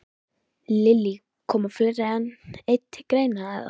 Lillý: Koma fleiri en einn til greina, eða?